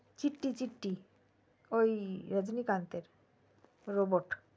চিট্টি চিট্টি ওই রজনীকান্তের robot